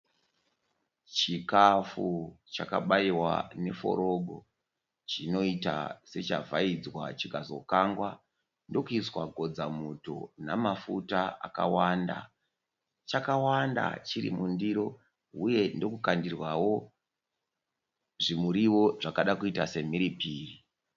Chikafu chakabaiwa neforogo, chinoita sechavhaidzwa chikazokangwa ndokuiswa kodzamuto namafuta akawanda. Chakawanda chiri mundiro uye ndokukandirwawo zvimuriwo zvakada kuita semhiripiri.